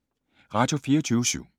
Radio24syv